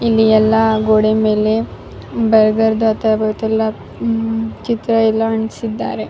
ಇಲ್ಲಿ ಎಲ್ಲ ಗೋಡೆ ಮೇಲೆ ಬಾರ್ಗರ್ದ್ ಚಿತ್ರ ಎಲ್ಲ ಅಂಟ್ಸಿದ್ದಾರೆ .